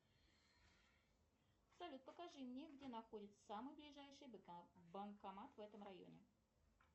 салют покажи мне где находится самый ближайший банкомат в этом районе